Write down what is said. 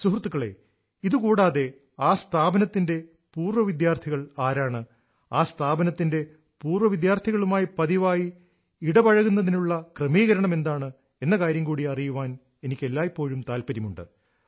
സുഹൃത്തുക്കളേ ഇതുകൂടാതെ ആ സ്ഥാപനത്തിന്റെ പൂർവവിദ്യാർഥികൾ ആരാണ് ആ സ്ഥാപനത്തിന്റെ പൂർവ്വ വിദ്യാർത്ഥികളുമായി പതിവായി ഇടപഴകുന്നതിനുള്ള ക്രമീകരണം എന്താണ് എന്ന കാര്യം കൂടി അറിയാൻ എനിക്ക് എല്ലായ്പ്പോഴും താൽപ്പര്യമുണ്ട്